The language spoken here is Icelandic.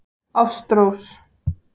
Ástrós